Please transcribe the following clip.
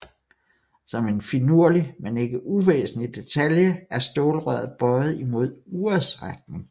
Som en finurlig men ikke uvæsentlig detalje er stålrøret bøjet imod urets retning